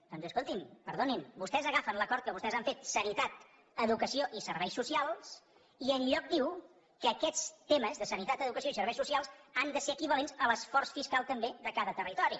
doncs escolti’m perdoni’m vostès agafen l’acord que vostès han fet sanitat educació i serveis socials i enlloc diu que aquests temes de sanitat educació i serveis socials han de ser equivalents a l’esforç fiscal també de cada territori